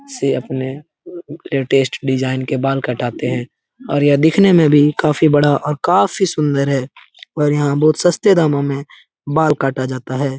से अपने latest design के बाल काटाते हे और यह दिखने में भी काफी बड़ा और काफी सुन्दर हे और यहाँ बहुत सस्ते दामों में बाल कटा जाता हे ।